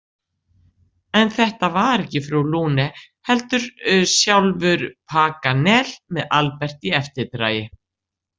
En þetta var ekki frú Lune, heldur sjálfur Paganel með Albert í eftirdragi.